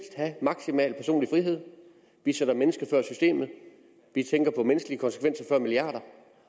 have maksimal personlig frihed vi sætter mennesket før systemet vi tænker på menneskelige konsekvenser før milliarder